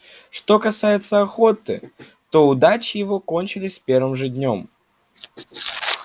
что касается охоты то удачи его кончились с первым же днём